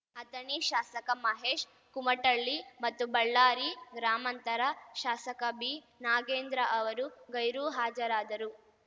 ಅಥಣಿ ಶಾಸಕ ಮಹೇಶ್‌ ಕುಮಟಳ್ಳಿ ಮತ್ತು ಬಳ್ಳಾರಿ ಗ್ರಾಮಾಂತರ ಶಾಸಕ ಬಿ ನಾಗೇಂದ್ರ ಅವರು ಗೈರು ಹಾಜರಾದರು